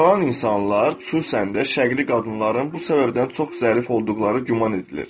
Utanan insanlar, xüsusən də şərqli qadınların bu səbəbdən çox zərif olduqları güman edilir.